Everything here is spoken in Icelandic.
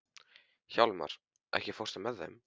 Hjálmar, ekki fórstu með þeim?